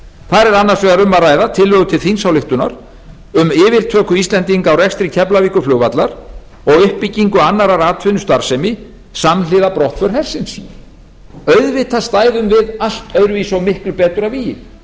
þar er annars vegar um að ræða tillögu til þingsályktunar um yfirtöku íslendinga á rekstri keflavíkurflugvallar og uppbyggingu annarrar atvinnustarfsemi samhliða brottför hersins auðvitað stæðum við allt öðruvísi og miklu betur að vígi